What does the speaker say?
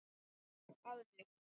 Að mér.